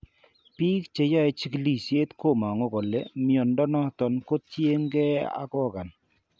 Biik cheyae chigilisiet komangu kole mnyondo noton ko tien ag organ